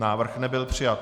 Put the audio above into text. Návrh nebyl přijat.